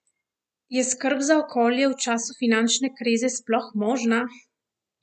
Je skrb za okolje v času finančne krize sploh možna?